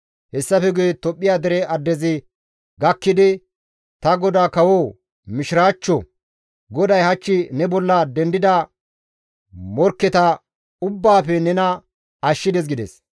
Hessafe guye Tophphiya dere addezi gakkidi, «Ta godaa kawoo, Mishiraachcho! GODAY hach ne bolla dendida morkketa ubbaafe nena ashshides» gides.